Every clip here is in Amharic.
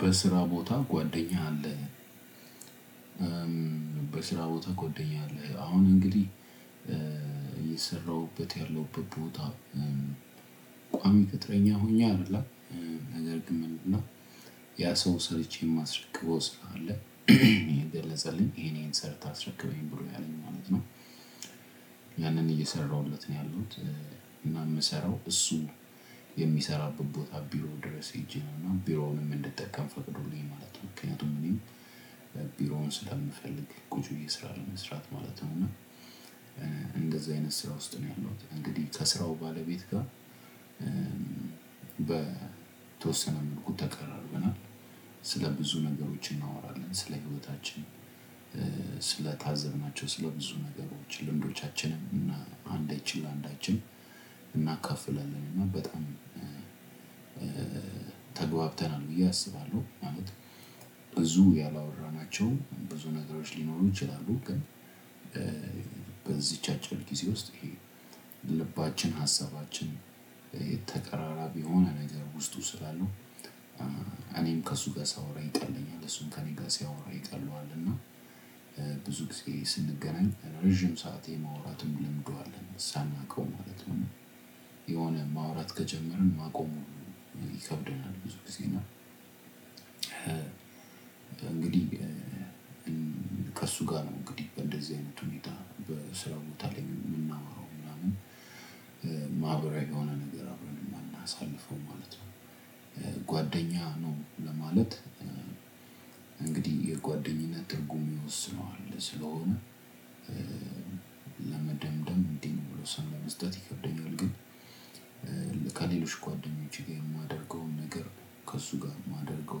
በስራ ቦታ ጓደኛ አለ። በስራ ቦታ ጎደኛ አለ አሁን እንግዲህ እየሰራሁበት ያለሁበት ቦታ ቋሚ ቅጥረኛ ሆኜ አይደለም ነገር ግን ምንድነው? ያ ሰው ሰርቼ የማስረክበው ስራ አለ እየገለፅልኝ ይሄን ይሄን ሰርተህ አስረክበኝ ብሎኝ ማለት ነው ያንን እየሰራሁለት ነው ያለሁት። እና እምሰራው እሱ የሚሰራበት ቦታ ቦሮ ድረሰ ሄጄ ነው እና ቢሮውንም እንዲጠቀም ፈቅዶልኝ ማለት ነው። ምክንያቱም እኒ ቢሮውን ስለምፈልግ ቁጭ ብየ ስራውን ለመስራት እና እንደዛ አይነት ስራ ውስጥ ነው ያለሁት እንግዲህ ከስራው ባለቤት ጋር በተወሰነ መልኩ ተቀራርበናል። ስለ ብዙ ነገሮች እናወራለን ስለ ህይወታችን ስለ ታዘብናቸው ስለ ብዙ ነገሮች ልምዶቻችንም እና አንዳችን ለ አንዳችን እናካፍለን እና በጣም ተግባብተናል ብዬ አስባለሁ። ማለት ብዙ ያላወራናቸው ብዙ ነገሮች ሊኖሩ ይችላሉ። ግን በዚች አጭር ጊዜ ውስጥ ይሄ ልባችን ሀሳባችን የተቀራራቢ የሆነ ነገር ውስጡ ስላሉ። እኔም ከእሱ ጋር ሳወራ ይቀለኛል እሱን ከእኔ ጋር ሲያወራ ይቀለዋል እና ብዙ ጊዜ ስንገናኝ ረጅም ሰዓት የማውራትም ልምዱ አለን ሳናውቀው ማለት ነው። የሆነ ማውራት ከጀመርን ማቆም ሁሉ ይከብደናል። ብዙ ጊዜ እና እንግዲህ ከእሱ ጋር እንግዲህ በእንደዚህ አይነት ሁኔታ በስራው ቦታ ላይ የምናወራው ምናምን ማህበራዊ የሆነ ነገር አብረን የምናሳልፈው ማለት ነው። ጓደኛ ነው ለማለት እንግዲህ የጓደኝነት ትርጉም ይወስነዋል ስለሆነ ለመደምደም እንዴ ነው ውሳኔ ለመስጠት ይከብደኛል። ግን ከሌሎች ጓደኞቼ ጋር የማደርገውን ነገር ከእሱ ጋር የማደርገው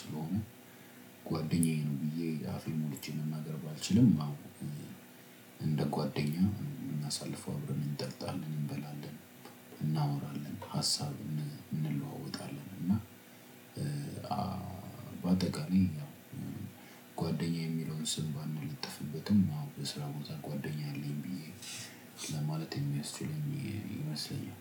ስለሆነ ጓደኛዬ ነው። ብዬ አፌን ሞልቼ መናገር ባልችልም እንደ ጓደኛ የምናሳልፈው አብረን እንጠጣለን እንበላለን እናወራለን ሀሳብ እንለዋወጣለን። እና በአጠቃላይ ጓደኛ የሚለውን ስም ባንለጠፍበትም ያው በስራ ቦታ ጓደኛ አለኝ ብዬ ለማለት የሚያስችለኝ ይመስለኛል።